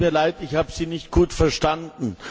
Es tut mir leid, ich habe Sie nicht gut verstanden.